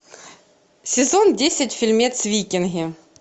сезон десять фильмец викинги